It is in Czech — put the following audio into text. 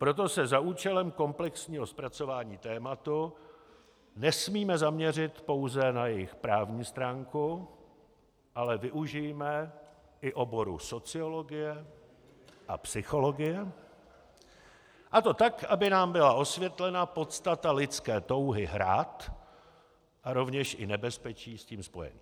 Proto se za účelem komplexního zpracování tématu nesmíme zaměřit pouze na jejich právní stránku, ale využijme i oboru sociologie a psychologie, a to tak, aby nám byla osvětlena podstata lidské touhy hrát a rovněž i nebezpečí s tím spojená.